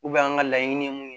an ka laɲini ye mun ye